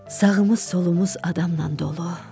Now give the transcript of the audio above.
Sağımız, solumuz adamla dolu.